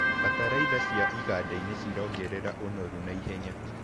Bataraitha cia igandainĩ cirongerera ũnoru na ihenya.